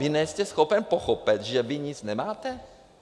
Vy nejste schopen pochopit, že vy nic nemáte?